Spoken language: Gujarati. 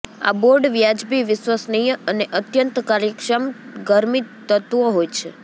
આ બોર્ડ વ્યાજબી વિશ્વસનીય અને અત્યંત કાર્યક્ષમ ગરમી તત્વો હોય છે